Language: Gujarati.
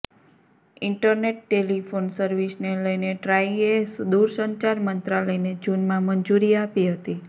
ઇન્ટરનેટ ટેલિફોન સર્વિસને લઇને ટ્રાઈએ દુરસંચાર મંત્રાલયને જુનમાં મંજૂરી આપી હતી